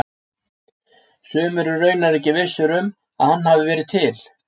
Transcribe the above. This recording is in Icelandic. Sumir eru raunar ekki vissir um að hann hafi verið til.